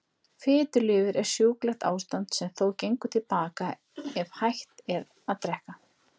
Fitulifur er sjúklegt ástand sem þó gengur til baka ef hætt er að drekka.